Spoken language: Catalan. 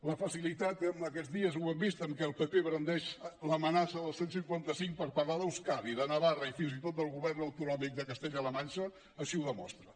la facilitat en aquests dies ho hem vist amb què el pp brandeix l’amenaça del cent i cinquanta cinc per parlar d’euskadi de navarra i fins i tot del govern autonòmic de castella la manxa així ho demostra